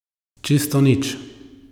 Čisto nič.